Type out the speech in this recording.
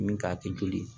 Min k'a kɛ joli ye